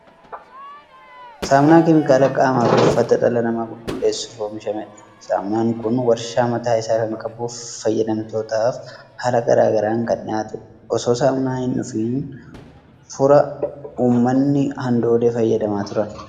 Saamunaan keemikaala qaamaa fi uffata dhala namaa qulqulleessuuf oomishamedha. Saamunaan kun waarshaa mataa isaa kan qabuu fi fayyadamtootaaf haala garaa garaan kan dhiyaatudha. Osoo saamunaan hin dhufiin fura uummatni handoodee fayyadamaa turan.